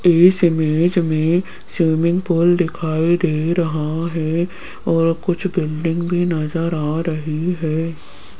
इस इमेज में swimming pool दिखाई दे रहा है और कुछ बिल्डिंग भी नजर आ रही है।